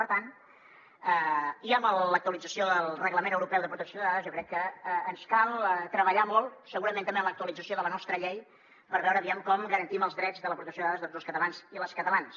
per tant i amb l’actualització del reglament europeu de protecció de dades jo crec que ens cal treballar molt segurament també en l’actualització de la nostra llei per veure com garantim els drets de la protecció de dades de tots els catalans i les catalanes